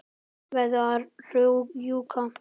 Verð að rjúka.